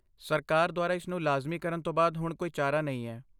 ਸਰਕਾਰ ਦੁਆਰਾ ਇਸ ਨੂੰ ਲਾਜ਼ਮੀ ਕਰਨ ਤੋਂ ਬਾਅਦ ਹੁਣ ਕੋਈ ਚਾਰਾ ਨਹੀਂ ਹੈ।